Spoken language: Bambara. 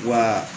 Wa